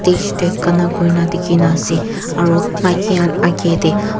stage tae gana kurina dekhina ase aru maiki khan agae tae.